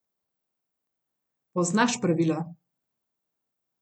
Poznaš pravila.